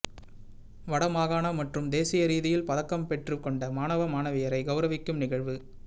வடமாகாண மற்றும்தேசிய ரீதியில் பதக்கம் பெற்று கொண்ட மாணவ மாணவியரை கெளரவிக்கும் நிகழ்வு